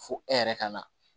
Fo e yɛrɛ ka na